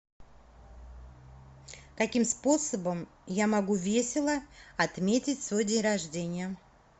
каким способом я могу весело отметить свой день рождения